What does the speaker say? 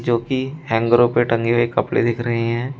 जोकि हैंगरो पे टंगे हुए कपड़े दिख रहे हैं।